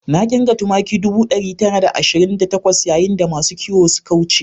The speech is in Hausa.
Na kirga tumaki ɗubu ɗaya da ɗari tara da ashirin da takwas yayin da masu kiwo suka wuce